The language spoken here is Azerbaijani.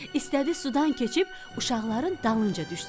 İstədi sudan keçib uşaqların dalınca düşsün.